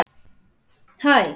Borða dýrin?